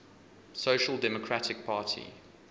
social democratic party